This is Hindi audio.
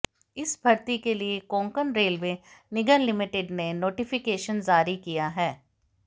इस भर्ती के लिए कोंकण रेलवे निगम लिमिटेड ने नोटिफिकेशन जारी किया है